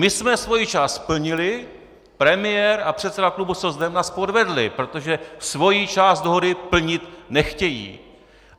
My jsme svoji část splnili, premiér a předseda klubu socdem nás podvedli, protože svoji část dohody plnit nechtějí.